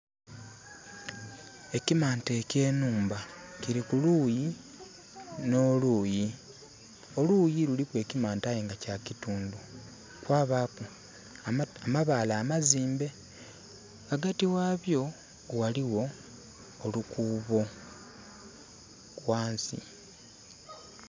Ekimante ekye nhumba kili ku luuyi no luuyi. Oluuyi luliku ekimante aye nga kya kitundu, kwa baaku amabaale amazimbe. Ghaghati ghabyo ghaligho olukuubo ghansi.